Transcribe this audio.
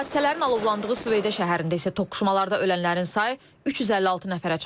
Hadisələrin alovlandığı Süveyda şəhərində isə toqquşmalarda ölənlərin sayı 356 nəfərə çatıb.